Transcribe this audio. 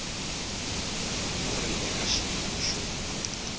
wu ri eka xiyimo xo